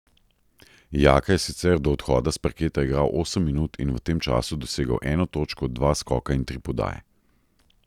Jaka je sicer do odhoda s parketa igral osem minut in v tem času dosegel eno točko, dva skoka in tri podaje.